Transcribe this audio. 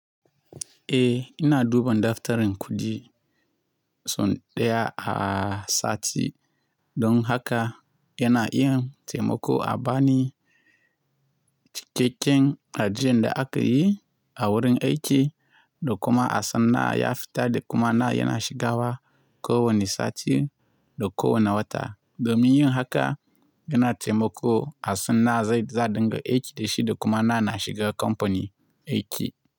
Eh, ina duban daftarin kuɗi sau ɗaya a sati. Don haka yana yin taimako a bani cikakken ajiyan da aka yi a wurin aiki, da kuma asan nawa ya fita da kuma nawa yana shigawa ko wani sati da ko wani wata. Domin yin haka yana taimako asan nawa zai za'aɗinga aiki da shi da kuma nawa na shiga kamfani aiki.